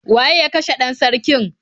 Waye ya kashe 'dan sarkin?